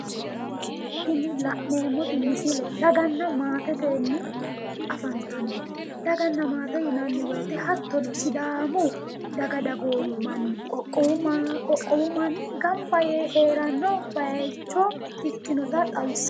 tini la'neemmoti misile daganna maatetenni afantannote daganna maate yinanni woyiite hattono sidaamu daga dagoomi manni qoqqowu manni gamba yee heeranno bayiicho ikinota xawissanno